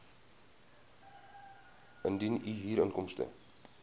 indien u huurinkomste